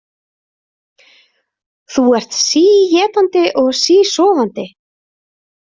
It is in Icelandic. Þú ert síétandi og sísofandi